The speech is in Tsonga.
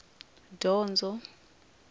dyondzo